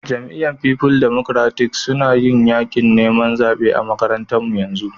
Jami'yyar People Democratic suna yin yakin niman zabe a'makarantan mu yanzu.